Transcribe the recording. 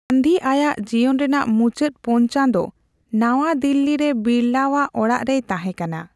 ᱜᱟᱱᱫᱷᱤ ᱟᱭᱟᱜ ᱡᱤᱭᱚᱱ ᱨᱮᱱᱟᱜ ᱢᱩᱪᱟᱹᱫ ᱯᱳᱱ ᱪᱟᱸᱫᱳ ᱱᱟᱣᱟ ᱫᱤᱞᱞᱤ ᱨᱮ ᱵᱤᱲᱞᱟᱣᱟᱜ ᱚᱲᱟᱜ ᱨᱮᱭ ᱛᱟᱦᱮᱸᱠᱟᱱᱟ ᱾